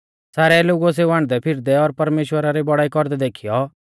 सारै लोगुऐ सेऊ हांडदैफिरदै और परमेश्‍वरा री बौड़ाई कौरदै देखीयौ